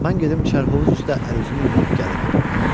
Mən gedim çərhovuz üstə əl üzümü yuyub gəlirəm."